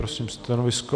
Prosím stanovisko.